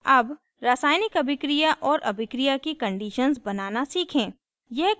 अब रासायनिक अभिक्रिया और अभिक्रिया की conditions बनाना सीखें